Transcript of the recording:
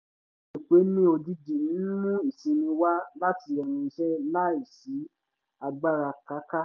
ìpeni ojìjì ń mú ìsinmi wá láti ẹnu iṣẹ́ láì sí agbára káká